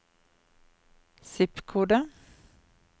zip-kode